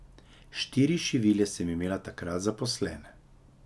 Štiri šivilje sem imela takrat zaposlene.